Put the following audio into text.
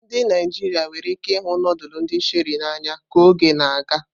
Ndị Naijiria nwere ike ịhụ nudulu ndi Sherie n'anya ka oge na-aga.